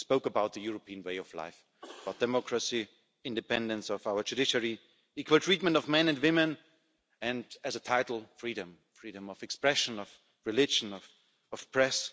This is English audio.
We spoke about the European way of life, about democracy, independence of our judiciary, equal treatment of men and women, and, as a title, freedom freedom of expression, of religion, of the press.